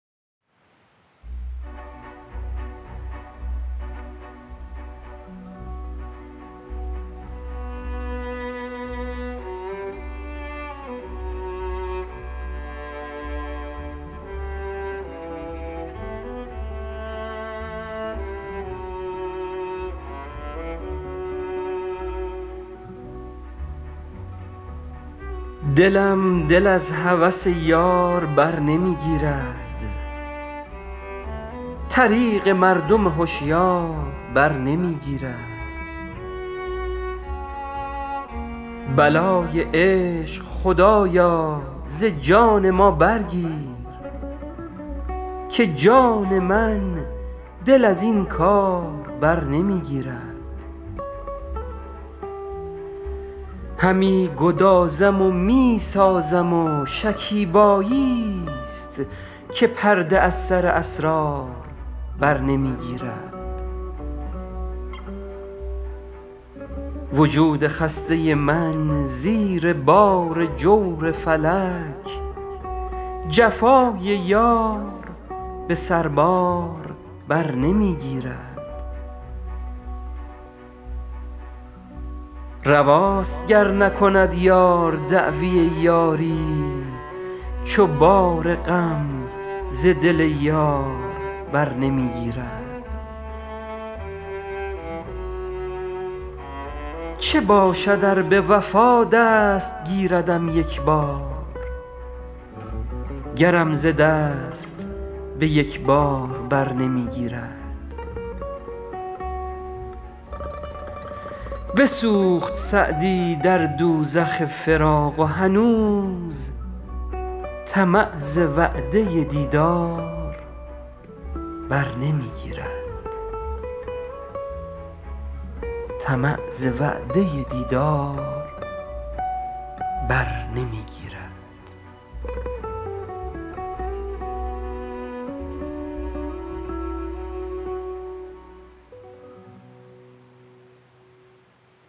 دلم دل از هوس یار بر نمی گیرد طریق مردم هشیار بر نمی گیرد بلای عشق خدایا ز جان ما برگیر که جان من دل از این کار بر نمی گیرد همی گدازم و می سازم و شکیباییست که پرده از سر اسرار بر نمی گیرد وجود خسته من زیر بار جور فلک جفای یار به سربار بر نمی گیرد رواست گر نکند یار دعوی یاری چو بار غم ز دل یار بر نمی گیرد چه باشد ار به وفا دست گیردم یک بار گرم ز دست به یک بار بر نمی گیرد بسوخت سعدی در دوزخ فراق و هنوز طمع ز وعده دیدار بر نمی گیرد